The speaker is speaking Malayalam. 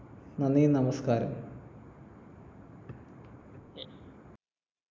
നന്ദി നമസ്കാരം